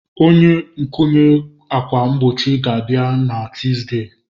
Onye nkwụnye ákwà mgbochi ga-abịa na Tuzdee.